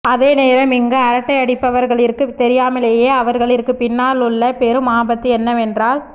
அதே நேரம் இங்கு அரட்டையடிப்பவர்களிற்கு தெரியாமலேயே அவர்களிற்கு பின்னால் உள்ள பெரும் ஆபத்து என்னவென்றால்